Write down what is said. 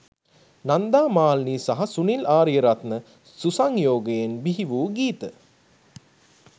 නන්දා මාලිනී සහ සුනිල් ආරියරත්න සුසංයෝගයෙන් බිහි වූ ගීත